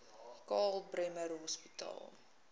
karl bremer hospitaal